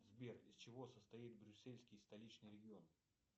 сбер из чего состоит брюссельский столичный регион